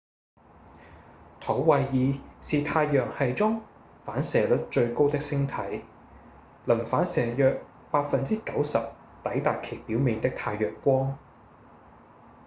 土衛二是太陽系中反射率最高的星體能反射約 90% 抵達其表面的太陽光